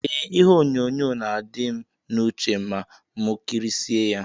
Eeh ihe onyonyo na adim na uche ma mu kirisie ya.